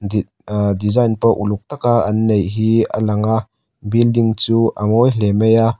aa design pawh uluk taka an neih hi a langa building chu a ngawi hle mai a.